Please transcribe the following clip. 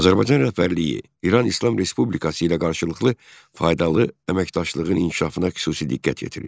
Azərbaycan rəhbərliyi İran İslam Respublikası ilə qarşılıqlı faydalı əməkdaşlığın inkişafına xüsusi diqqət yetirir.